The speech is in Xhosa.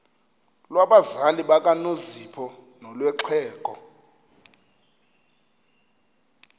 lwabazali bakanozpho nolwexhego